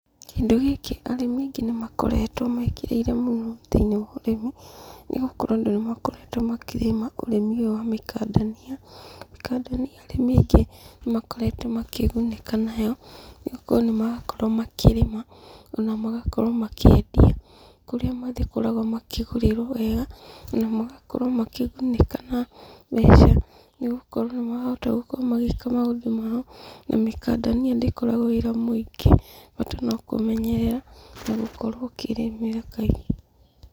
Kĩndũ gĩkĩ arĩmi aingĩ nĩmakoretwo mekĩrĩire mũno thĩ-ini wa ũrĩmi, nĩgũkorwo andũ nĩmakoretwo makĩrĩma ũrĩmi ũyũ wa mĩkandania. Mĩkandania arĩmi aingĩ nĩmakoretwo makĩgunĩka nayo, nĩgũkorwo nĩmarakorwo makĩrĩma, ona magakorwo makĩendia, kũrĩa makoragwo makĩgũrĩrwo wega, ona magakorwo makĩgunĩka na mbeca, nĩ gũkorwo nĩmarahota gũkorwo magĩka maũndũ mao, na mĩkandania ndĩkoragwo wĩra mũingĩ; bata no kũmenyerera, na gũkorwo ũkĩrĩmĩra kaingĩ.